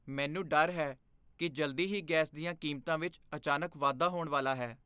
ਮੈਨੂੰ ਡਰ ਹੈ ਕਿ ਜਲਦੀ ਹੀ ਗੈਸ ਦੀਆਂ ਕੀਮਤਾਂ ਵਿੱਚ ਅਚਾਨਕ ਵਾਧਾ ਹੋਣ ਵਾਲਾ ਹੈ।